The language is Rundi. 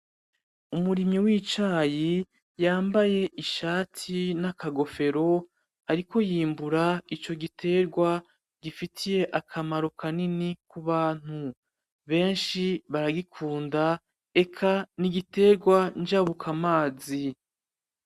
Umurimyi w'icayi yambaye ishati n'akagofero ariko yimbura ico gitegwa gifitiye akamaro ku bantu. Benshi baragikunda. Eka ni igitegwa njabukamazi.